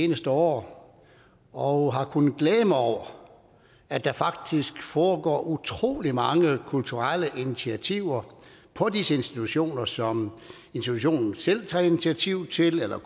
seneste år og har kunnet glæde mig over at der faktisk foregår utrolig mange kulturelle initiativer på disse institutioner som institutionerne selv tager initiativ til eller